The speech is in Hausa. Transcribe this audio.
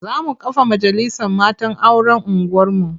Za mu kafa majalisar matan auren unguwarmu.